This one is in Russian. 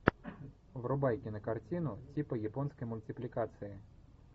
врубай кинокартину типа японской мультипликации